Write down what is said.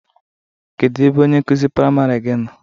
Kedụ ebe onye nkụzi priamarị gị nọ?